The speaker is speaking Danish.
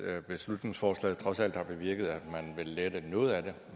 at beslutningsforslaget trods alt har bevirket at man vil lette noget af det